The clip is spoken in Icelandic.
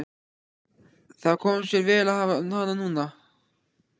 Það kom sér vel að hafa hana núna.